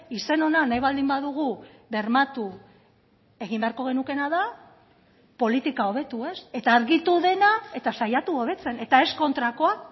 izen ona nahi baldin badugu bermatu egin beharko genukeena da politika hobetu eta argitu dena eta saiatu hobetzen eta ez kontrakoa